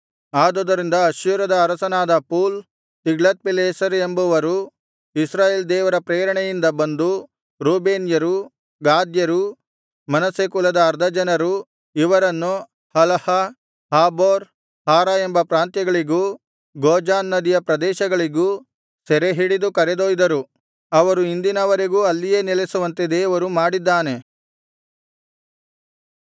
ಆದುದರಿಂದ ಅಶ್ಶೂರದ ಅರಸನಾದ ಪೂಲ್ ತಿಗ್ಲತ್ಪಿಲೆಸರ್ ಎಂಬವರು ಇಸ್ರಾಯೇಲ್ ದೇವರ ಪ್ರೇರಣೆಯಿಂದ ಬಂದು ರೂಬೇನ್ಯರು ಗಾದ್ಯರು ಮನಸ್ಸೆ ಕುಲದ ಅರ್ಧ ಜನರು ಇವರನ್ನು ಹಲಹ ಹಾಬೋರ್ ಹಾರ ಎಂಬ ಪ್ರಾಂತ್ಯಗಳಿಗೂ ಗೋಜಾನ್ ನದಿಯ ಪ್ರದೇಶಗಳಿಗೂ ಸೆರೆ ಹಿಡಿದು ಕರೆದೊಯ್ದರು ಅವರು ಇಂದಿನವರೆಗೂ ಅಲ್ಲಿಯೇ ನೆಲೆಸುವಂತೆ ಮಾಡಿದ್ದಾನೆ ದೇವರು